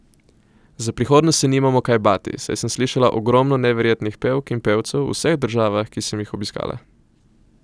Za prihodnost se nimamo kaj bati, saj sem slišala ogromno neverjetnih pevk in pevcev v vseh državah, ki se m jih obiskala.